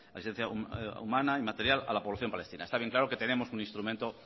asistencia humana y material a la población palestina está bien claro que tenemos un instrumento